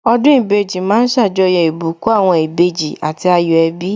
Ọdún ìbejì ma ń ṣàjọyọ̀ ìbùkún àwọn ìbejì àti ayọ̀ ẹbí